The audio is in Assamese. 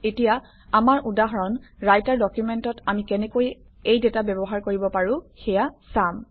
এতিয়া আমাৰ উদাহৰণ ৰাইটাৰ ডকুমেণ্টত আমি কেনেকৈ এই ডাটা ব্যৱহাৰ কৰিব পাৰোঁ সেয়া চাম